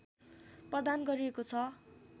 प्रदान गरिएको छ